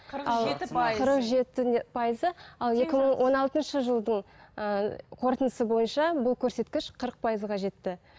қырық жеті пайыз қырық жеті пайызы ал екі мың он алтыншы жылдың ыыы қортындысы бойынша бұл көрсеткіш қырық пайызға жетті